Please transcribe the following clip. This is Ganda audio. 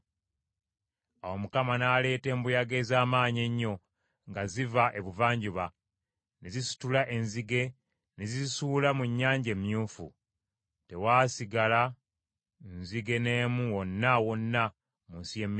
Awo Mukama n’aleeta embuyaga ez’amaanyi ennyo nga ziva ebuvanjuba, ne zisitula enzige ne zizisuula mu Nnyanja Emyufu. Tewaasigala nzige n’emu wonna wonna mu nsi y’e Misiri.